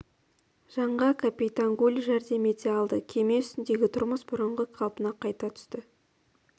жанға капитан гуль жәрдем ете алды кеме үстіндегі тұрмыс бұрынғы қалпына қайта түсті